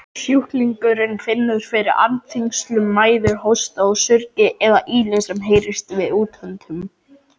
Sjúklingurinn finnur fyrir andþyngslum, mæði, hósta og surgi eða ýli sem heyrist við útöndun.